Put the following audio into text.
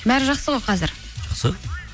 бәрі жақсы ғой қазір жақсы